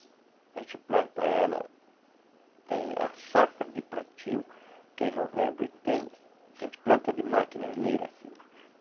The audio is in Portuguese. A gente planta ela... Tem a safra de plantio, que é em novembro e tem... Que a gente planta de máquina, assim.